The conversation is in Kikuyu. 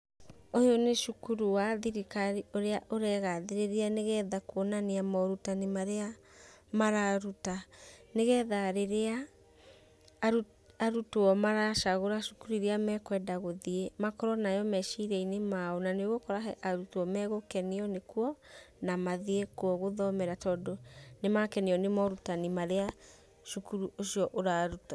Ũyũ nĩ cukuru wa thirikari ũrĩa ũregathĩrĩria nĩgetha kuonania morutani marĩa mararuta, nĩgetha rĩrĩa aru arutwo maracagũra cukuru iria mekwenda gũthiĩ makorwo nayo meciria-inĩ mao, na nĩũgũkora arutwo megũkenio nĩkuo na mathiĩ kuo gũthomera, tondũ nĩmakenio nĩ morutani marĩa cukuru ũcio ũraruta.